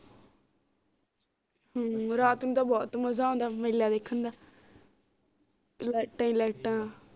ਹਮ ਰਾਤ ਨੂੰ ਤਾ ਬੁਹਤ ਮਜ਼ਾ ਆਉਂਦਾ ਮੇਲਾ ਵੇਖਣ ਦਾ ਲਾਈਟਾਂ ਹੀ ਲਾਈਟਾਂ